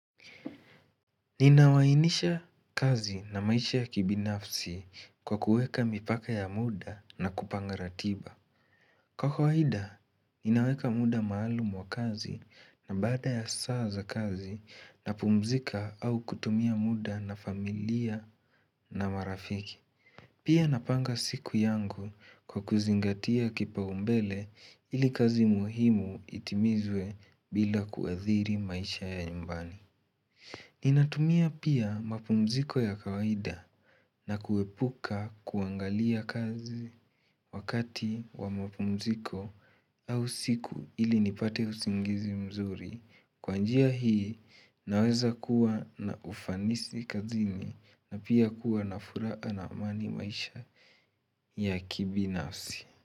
Ninawainisha kazi na maisha ya kibinafsi kwa kuweka mipaka ya muda na kupanga ratiba. Kwa kwaida, ninaweka muda maalumu wa kazi na bada ya saa za kazi napumzika au kutumia muda na familia na marafiki. Pia napanga siku yangu kwa kuzingatia kipaumbele ili kazi muhimu itimizwe bila kuathiri maisha ya nyumbani. Ninatumia pia mapumziko ya kawaida na kuepuka kuangalia kazi wakati wa mapumziko au siku ili nipate usingizi mzuri Kwa njia hii naweza kuwa na ufanisi kazini na pia kuwa na furaha na amani maisha ya kibinafsi.